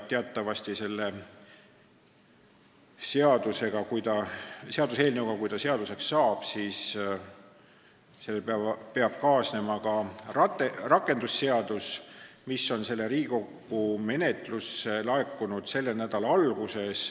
Teatavasti peab selle seaduseelnõuga, kui ta seaduseks saab, kaasnema ka rakendusseaduse eelnõu, mis laekus Riigikogu menetlusse selle nädala alguses.